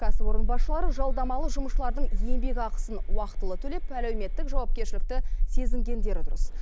кәсіпорын басшылары жалдамалы жұмысшылардың еңбекақысын уақтылы төлеп әлеуметтік жауапкершілікті сезінгендері дұрыс